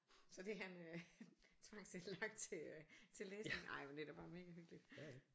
Så det han øh tvangsindlagt til øh til læsning ej men det er da bare mega hyggeligt